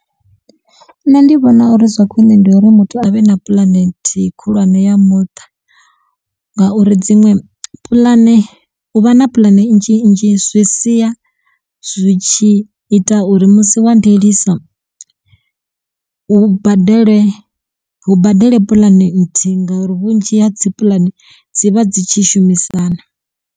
Nṋe ndi vhona uri zwa khwine ndi uri muthu avhe na puḽane nthihi khulwane ya muṱa ngauri dziṅwe puḽane u vha na puḽane nnzhi nnzhi zwi sia zwi tshi ita uri musi wa ndiliso hu badele hu badele puḽane nthihi ngauri vhunzhi ha dzi puḽane dzi vha dzi tshi shumisana.